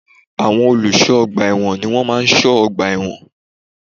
Àwọn olùsọ́ ọgbà èwọ̀n ni wọ́n má a n sọ́ ọgbà ẹ̀wọ̀n